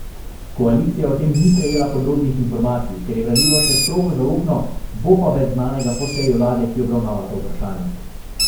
Koalicija o tem ni prejela podrobnih informacij, ker je gradivo še strogo zaupno, bo pa več znanega po seji vlade, ki obravnava to vprašanje.